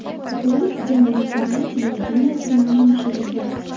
Rolik Janubiy Koreya televideniyesida namoyish etilgan.